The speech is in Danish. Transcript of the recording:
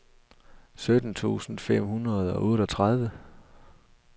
sytten tusind fem hundrede og otteogtredive